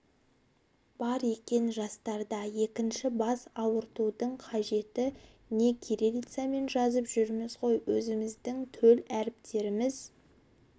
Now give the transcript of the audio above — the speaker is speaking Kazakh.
бар екен жастарда екінші бас ауыртудың қажеті не кириллицамен жазып жүрміз ғой өзіміздің төл әріптеріміз